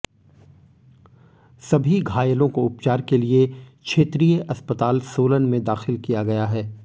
सभी घायलों को उपचार के लिए क्षेत्रीय अस्पताल सोलन में दाखिल किया गया है